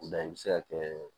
O la i bɛ se ka kɛ